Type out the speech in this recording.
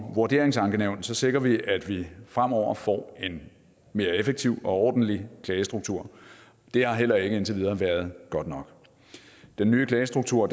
vurderingsankenævn sikrer vi at vi fremover får en mere effektiv og ordentlig klagestruktur det har heller ikke indtil videre været godt nok den nye klagestruktur